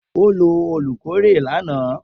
O lo olukore lana.